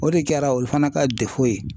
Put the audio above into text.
O de kɛra olu fana ka ye.